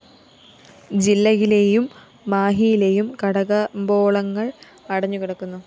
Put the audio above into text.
ജില്ലയിലേയും മാഹിയിലേയും കടകമ്പോളങ്ങള്‍ അടഞ്ഞു കിടന്നു